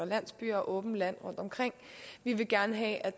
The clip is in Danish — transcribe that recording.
landsbyer og åbent land rundtomkring vi vil gerne have at